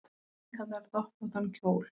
Innkallar doppóttan kjól